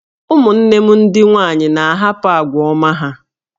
Ụmụnne m ndị nwanyị na-ahapụ àgwà ọma ha